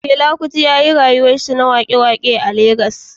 Fela Onikulafo Kuti ya yi rayuwarsa ta waƙe-waƙe a Legas.